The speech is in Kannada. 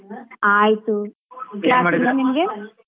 ಆಯ್ತು ನಿಮ್ಗೆ?